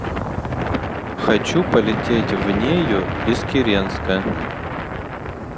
хочу полететь в нею из киренска